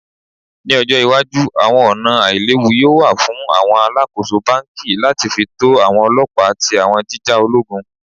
Ni ojo iwaju awọn ọna ailewu yoo wa fun awọn alakoso banki lati fi to ọlọpa ti awọn jija ologun?